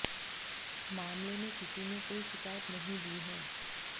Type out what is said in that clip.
मामले में किसी ने कोई शिकायत नहीं दी है